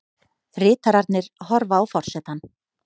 Ritararnir horfa á forsetann.